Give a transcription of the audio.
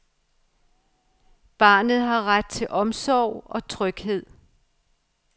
Barnet har ret til omsorg og tryghed.